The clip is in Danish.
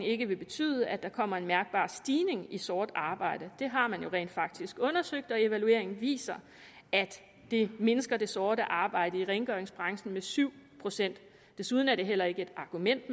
ikke vil betyde at der kommer en mærkbar stigning i sort arbejde det har man jo rent faktisk undersøgt og evalueringen viser at det mindsker det sorte arbejde i rengøringsbranchen med syv procent desuden er det heller ikke et argument